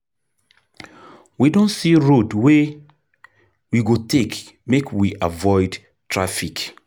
We don see road wey we go take make we avoid traffic.